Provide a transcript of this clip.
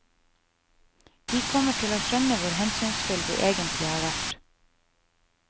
De kommer til å skjønne hvor hensynsfulle vi egentlig har vært.